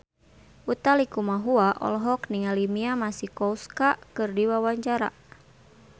Utha Likumahua olohok ningali Mia Masikowska keur diwawancara